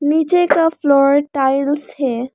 नीचे का floor tiles है।